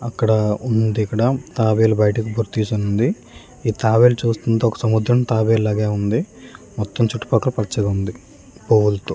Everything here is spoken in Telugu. అక్కడ ఉంది ఇక్కడ తాబేళ్లు బయటకు తీసి ఉంది ఇ తాబేళ్లు చూస్తుంటే ఒక సముద్రం తాబేళ్లు లగే ఉంది మొత్తం చుటూ పకాల్లా పచ్చగా ఉంది హోల్ --